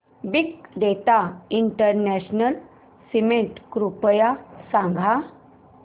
big data international summit कृपया सांगा